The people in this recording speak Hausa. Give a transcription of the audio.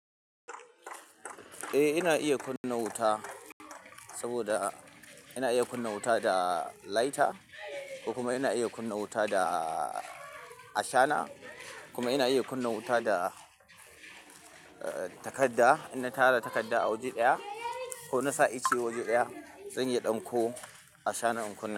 Eh ina iya kunna wuta saboda ina iya kunna wuta da lighter kuma ina iya kunna wuta da ashana kuma ina iya kunna wuta da takadda in na tara takadda a waje ɗaya ko na sa ice waje ɗaya zan iya ɗanko ashana in kunna.